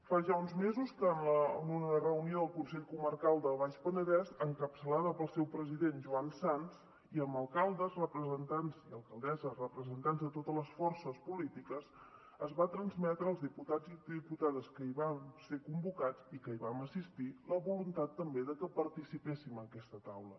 fa ja uns mesos que en una reunió al consell comarcal del baix penedès encapçalada pel seu president joan sans i amb alcaldes i alcaldesses representants de totes les forces polítiques es va transmetre als diputats i diputades que hi vam ser convocats i que hi vam assistir la voluntat també de que participéssim en aquesta taula